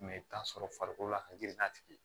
i bɛ t'a sɔrɔ farikolo la ka girin n'a tigi ye